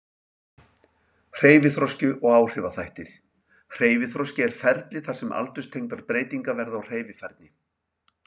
Hreyfiþroski og áhrifaþættir Hreyfiþroski er ferli þar sem aldurstengdar breytingar verða á hreyfifærni.